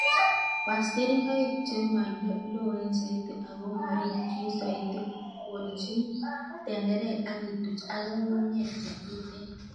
Was keringoik chemoloen soiti ako morikyin soiti, Kolchin tenderek ak ituch ak ng'ung'unyek chetuten.